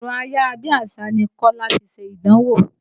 Ẹ̀rọ ayára bí àṣá ni Kọ́lá fi ṣe ìdánwò.